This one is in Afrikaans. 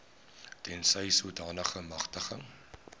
tensy sodanige magtiging